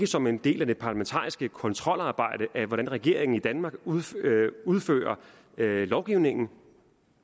som en del af det parlamentariske kontrolarbejde at tilse hvordan regeringen i danmark udfører udfører lovgivningen